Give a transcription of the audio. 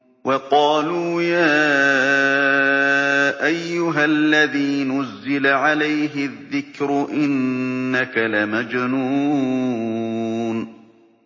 وَقَالُوا يَا أَيُّهَا الَّذِي نُزِّلَ عَلَيْهِ الذِّكْرُ إِنَّكَ لَمَجْنُونٌ